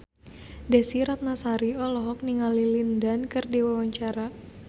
Desy Ratnasari olohok ningali Lin Dan keur diwawancara